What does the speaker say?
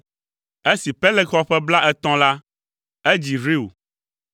Esi Peleg xɔ ƒe blaetɔ̃ la, edzi Reu.